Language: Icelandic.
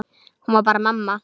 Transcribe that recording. Hún var bara mamma.